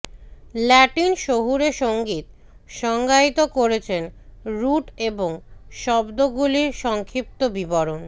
Latin শহুরে সঙ্গীত সংজ্ঞায়িত করেছেন রুট এবং শব্দগুলির সংক্ষিপ্ত বিবরণ